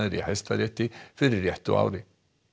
í Hæstarétti fyrir réttu ári